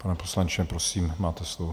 Pane poslanče, prosím, máte slovo.